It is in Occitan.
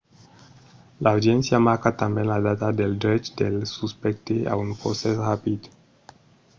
l’audiéncia marca tanben la data del drech del suspècte a un procès rapid